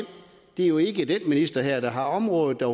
det jo ikke er den minister her der har området der